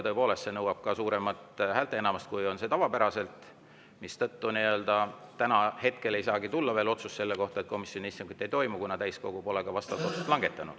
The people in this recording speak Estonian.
Tõepoolest, see nõuab suuremat häälteenamust kui tavapäraselt, mistõttu hetkel ei saagi veel olla otsust, et komisjoni istungit ei toimu, kuna ka täiskogu pole vastavat otsust langetanud.